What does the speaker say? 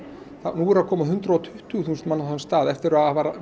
nú eru að koma hundrað og tuttugu þúsund manns á þann stað eftir að